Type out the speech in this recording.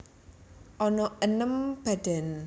Ana enem badan